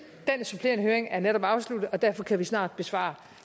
den supplerende høring er netop afsluttet og derfor kan vi snart besvare